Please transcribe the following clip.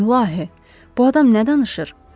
İlahi, bu adam nə danışır?